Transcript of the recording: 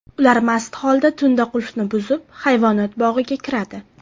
Ular mast holda tunda qulfni buzib, hayvonot bog‘iga kiradi.